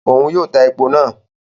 Òun yóò tá èpò náà